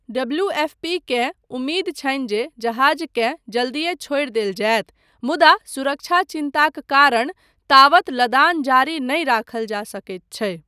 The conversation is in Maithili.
डब्लूऍफ़पीकेँ उम्मीद छनि जे जहाजकेँ जल्दिये छोड़ि देल जायत, मुदा सुरक्षा चिन्ताक कारण तावत लदान जारी नहि राखल जा सकैत छै।